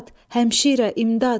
Həmşirə, imdad!